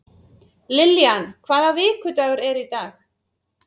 Lillian, hvaða vikudagur er í dag?